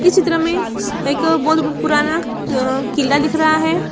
इस चित्र में एक बहुत पुराना अ किला दिख रहा है।